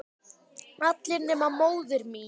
Allir nema móðir mín.